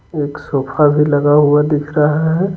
एक सोफा भी लगा हुआ दिख रहा है।